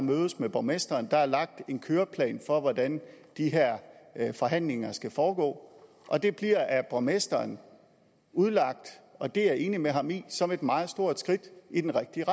mødes med borgmesteren der er lagt en køreplan for hvordan de her forhandlinger skal foregå og det bliver af borgmesteren udlagt og det er jeg enig med ham i som et meget stort skridt i den rigtige